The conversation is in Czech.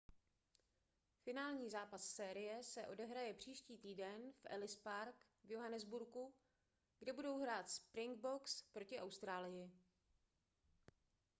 finální zápas série se odehraje příští týden v ellis park v johannesburgu kde budou hrát springboks proti austrálii